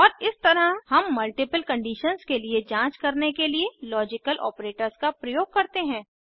और इस तरह हम मल्टीपल कंडीशन्स के लिए जांच करने के लिए लॉजिकल ऑपरेटरों का प्रयोग करते हैं